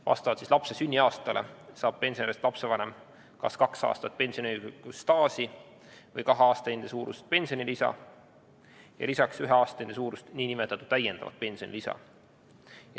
Vastavalt lapse sünniaastale saab pensionärist lapsevanem kas kahe aasta ulatuses pensioniõiguslikku staaži või kahe aastahinde suurust pensionilisa ja lisaks ühe aastahinde suurust nn täiendavat pensionilisa.